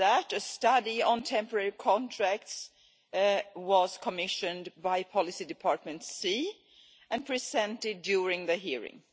A study on temporary contracts was also commissioned by Policy department C, and was presented during the hearing.